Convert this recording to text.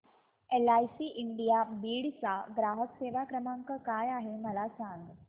LIC India Beed चा ग्राहक सेवा क्रमांक काय आहे मला सांग